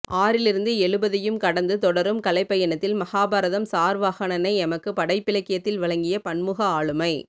ஆறிலிருந்து எழுபதையும் கடந்து தொடரும் கலைப்பயணத்தில் மகாபாரதம் சார்வாகனனை எமக்கு படைப்பிலக்கியத்தில் வழங்கிய பன்முக ஆளுமை